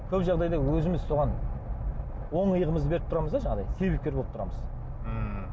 көп жағдайда өзіміз соған оң иығымызды беріп тұрамыз да жаңағыдай себепкер болып тұрамыз ммм